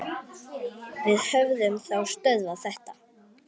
Við höfum þá stöðvað þetta.